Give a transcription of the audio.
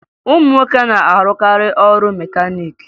Ụmụ nwoke na-arụkarị ọrụ mekaniiki